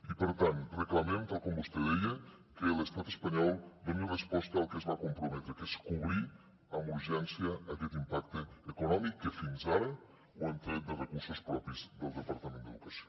i per tant reclamem tal com vostè deia que l’estat espanyol doni resposta al que es va comprometre que és cobrir amb urgència aquest impacte econòmic que fins ara ho hem tret de recursos propis del departament d’educació